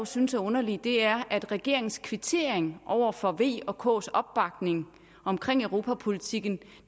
synes er underligt er at regeringens kvittering over for v og ks opbakning omkring europapolitikken